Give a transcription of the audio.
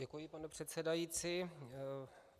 Děkuji, pane předsedající.